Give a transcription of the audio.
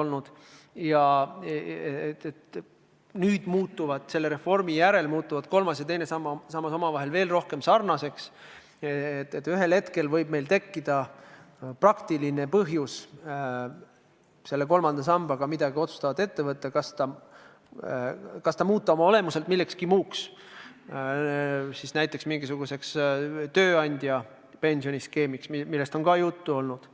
Kuna nüüd, selle reformi järel muutuvad kolmas ja teine sammas teineteisega veel rohkem sarnaseks, võib meil ühel hetkel tekkida praktiline põhjus kolmanda sambaga midagi otsustavat ette võtta – kas muuta see olemuselt millekski muuks, näiteks mingisuguseks tööandjapensioni skeemiks, millest on samuti juttu olnud,